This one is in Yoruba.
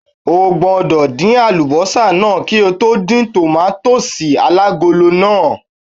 O gbọ́dọ̀ dín àlùbọ́sà náà kí ó tó dín tòmátósì alágolo náà!